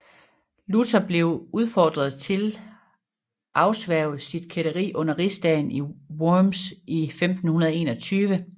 Luther blev udfordret til afsværge sit kætteri under Rigsdagen i Worms i 1521